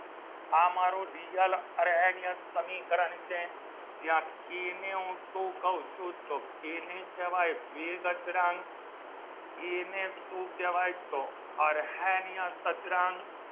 આ મારો real અર્હેનીયા સમીકરણ છે જ્યાં કેને હું શું કહું છું કેને કહેવાય વેગ અચળાંક કેને શું કહેવાય તો અરણીયા અચળાંક